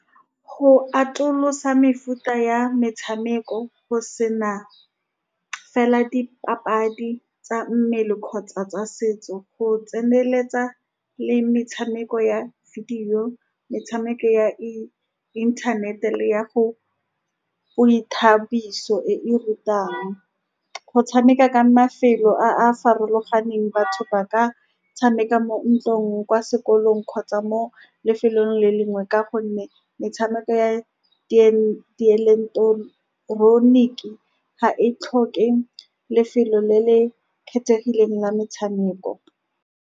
Go atolosa mefuta ya metshameko go sena fela dipapadi tsa mmele kgotsa tsa setso, go tseneletsa le metshameko ya video, metshameko ya internet-e le ya go, boithabiso e e rutang. Go tshameka ka mafelo a a farologaneng, batho ba ka tshameka mo ntlong, kwa sekolong, kgotsa mo lefelong le lengwe, ka gonne metshameko ya dieleketoroniki ga e tlhoke lefelo le le kgethegileng la metshameko.